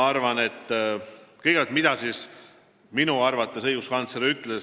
Kõigepealt, mida siis õiguskantsler minu arvates ütles?